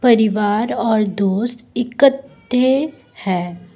परिवार और दोस्त इकठ्ठे है।